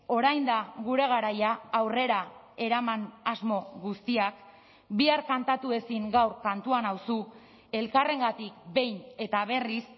orain da gure garaia aurrera eraman asmo guztiak bihar kantatu ezin gaur kantua nauzu elkarrengatik behin eta berriz